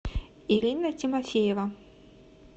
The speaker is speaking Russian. ирина тимофеева